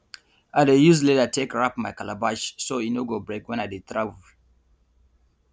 i dey use leather take wrap my calabash so e no go break wen i dey travel